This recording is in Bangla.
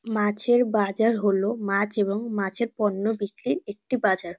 মাছের বাজার হলো মাছ এবং মাছের পণ্য বিক্রির একটি বাজার।